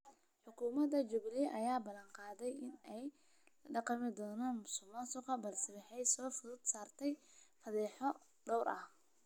Xukuumada jubilee ayaa balan qaaday in ay la dagaalami doonto musuq maasuqa balse waxaa soo food saartay fadeexado dhowr ah.